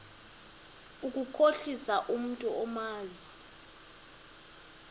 ukukhohlisa umntu omazi